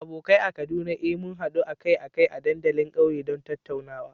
Abokai a Kaduna, eh, muna haduwa akai-akai a dandalin kauye don tattaunawa.